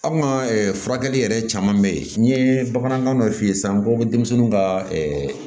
Aw ka furakɛli yɛrɛ caman bɛ ye n ye bamanankan dɔ f'i ye sisan ko denmisɛnninw ka